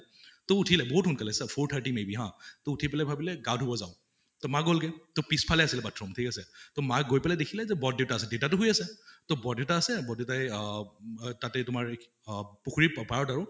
তʼ উঠিলে বহুত সোনকালে four thirty may be হা, তʼ উঠি পালে ভাবিলে গা ধুব যাওঁ, তʼ মা গʼলহে। পিছ্ফালে আছিলে bathroom ঠিক আছে, তʼ মা গৈ পিনে দেখিলে যে বৰদেউতা আছে, দেউতাতো শুই আছে। তʼ বৰদেউতা আছে বৰ দেউতাই অহ তাতে তোমাৰ অহ পুখুৰীৰ পাৰত আৰু